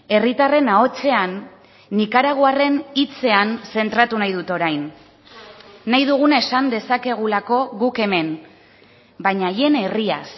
herritarren ahotsean nikaraguarren hitzean zentratu nahi dut orain nahi duguna esan dezakegulako guk hemen baina haien herriaz